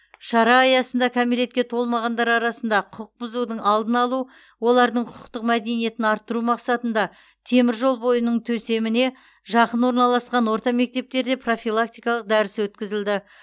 шара аясында кәмелетке толмағандар арасында құқық бұзудың алдын алу олардың құқықтық мәдениетін арттыру мақсатында теміржол бойының төсеміне жақын орналасқан орта мектептерде профилактикалық дәріс өткізілді